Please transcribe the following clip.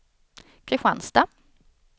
Kristianstad